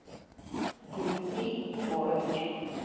дмитрий егорович